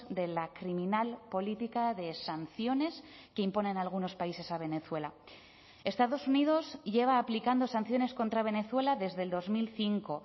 de la criminal política de sanciones que imponen algunos países a venezuela estados unidos lleva aplicando sanciones contra venezuela desde el dos mil cinco